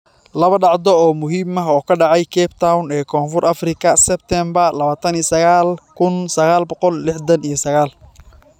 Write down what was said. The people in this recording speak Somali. Laba dhacdo oo muhiim ah oo ka dhacay Cape Town ee Koonfur Afrika Sebtembar 29, 1969.